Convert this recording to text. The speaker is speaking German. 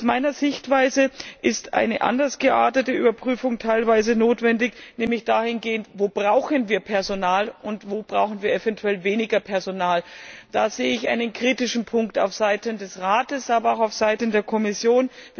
Aus meiner Sichtweise ist eine teilweise anders geartete Überprüfung notwendig, nämlich dahingehend Wo brauchen wir Personal und wo brauchen wir eventuell weniger Personal? Da sehe ich einen kritischen Punkt aufseiten des Rats, aber auch aufseiten der Kommission.